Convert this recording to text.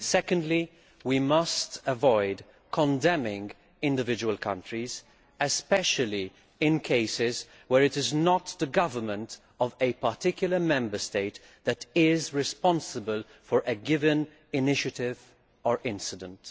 Secondly, we must avoid condemning individual countries, especially in cases where it is not the government of a particular Member State that is responsible for a given initiative or incident.